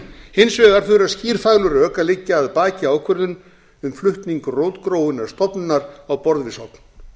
hins vegar þurfa skýr fagleg rök að liggja að baki ákvörðun um flutning rótgróinnar stofnunar á borð við sogn